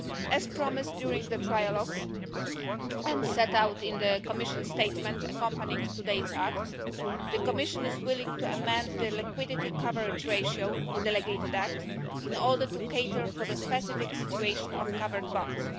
As promised during the trilogues and set out in the Commission's statement accompanying today's acts, the Commission is willing to amend the liquidity coverage ratio, delegated act, in order to cater for the specific situation of covered bonds.